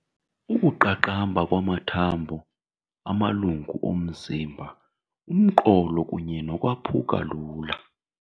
Ukuqaqamba kwamathambo, amalungu omzimba, umqolo kunye nokwaphuka lula.